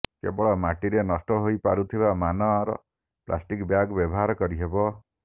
କେବଳ ମାଟିରେ ନଷ୍ଟ ହୋଇପାରୁଥିବା ମାନର ପ୍ଲାଷ୍ଟିକ୍ ବ୍ୟାଗ୍ ବ୍ୟବହାର କରିହେବ